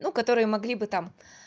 ну которые могли бы там